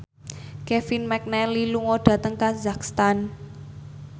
Kevin McNally lunga dhateng kazakhstan